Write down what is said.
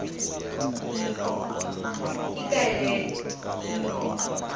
ikaelele